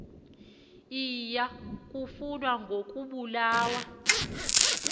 iya kufa ngokobulawa